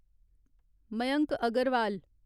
Mayank Agarwal